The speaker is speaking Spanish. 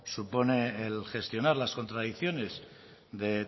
supone el gestionar las contradicciones de